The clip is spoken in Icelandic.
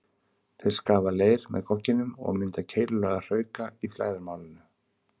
Þeir skafa leir með gogginum og mynda keilulaga hrauka í flæðarmálinu.